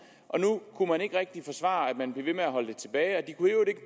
og nu kunne man ikke rigtig forsvare at man blev ved med at holde det tilbage de kunne